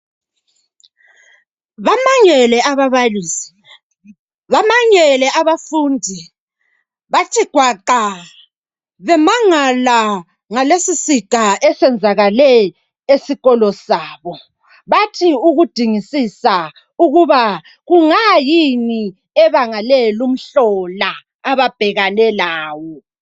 Bamangele ababalisi!bamangele abafundi! Bathi gwaqa bemangala ngalesisiga esenzakale esikolo sabo bathi ukudingisisa ukuba kungayini ebangale lumhlola ababhekane lawo.